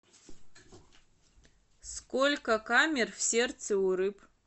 сколько камер в сердце у рыб